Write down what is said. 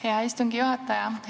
Hea istungi juhataja!